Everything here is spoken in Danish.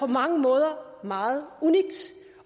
mange måder meget unikt